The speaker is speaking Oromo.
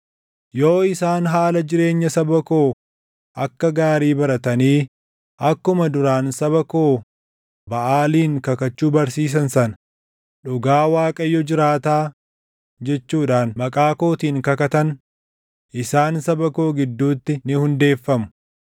Yoo isaan haala jireenya saba koo akka gaarii baratanii akkuma duraan saba koo Baʼaaliin kakachuu barsiisan sana, ‘Dhugaa Waaqayyo jiraataa’ jechuudhaan maqaa kootiin kakatan, isaan saba koo gidduutti ni hundeeffamu.